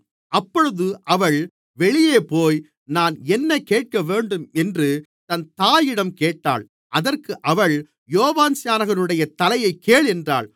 அப்பொழுது அவள் வெளியேபோய் நான் என்ன கேட்கவேண்டும் என்று தன் தாயிடம் கேட்டாள் அதற்கு அவள் யோவான்ஸ்நானனுடைய தலையைக் கேள் என்றாள்